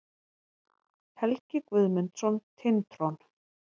Helgi Guðmundsson, Tintron.